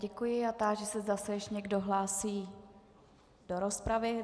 Děkuji a táži se, zda se ještě někdo hlásí do rozpravy.